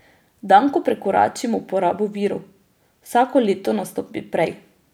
Dan, ko prekoračimo porabo virov, vsako leto nastopi prej.